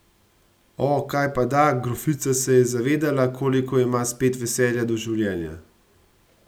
O, kajpada, grofica se je zavedala, koliko ima spet veselja do življenja.